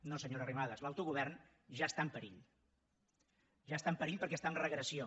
no senyora arrimadas l’autogovern ja està en perill ja està en perill perquè està en regressió